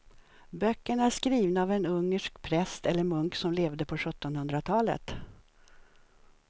Böckerna är skrivna av en ungersk präst eller munk som levde på sjuttonhundratalet.